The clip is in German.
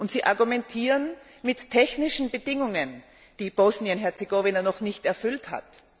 Sie argumentieren mit technischen Bedingungen, die Bosnien Herzegowina noch nicht erfüllt hat.